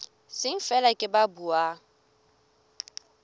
seng feela ke ba buang